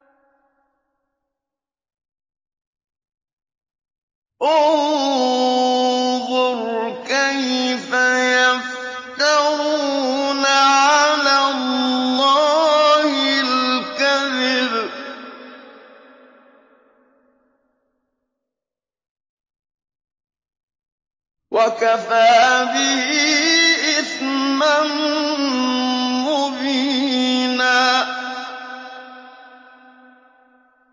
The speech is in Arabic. انظُرْ كَيْفَ يَفْتَرُونَ عَلَى اللَّهِ الْكَذِبَ ۖ وَكَفَىٰ بِهِ إِثْمًا مُّبِينًا